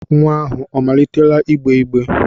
Nnwa ahụ omalitela igbe igbe?